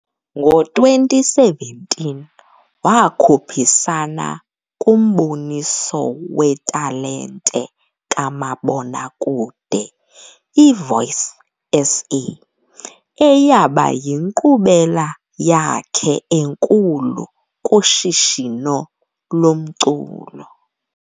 Ngo-2017, wakhuphisana kumboniso wetalente kamabonakude, iVoice SA, eyaba yinkqubela yakhe enkulu kushishino lomculo.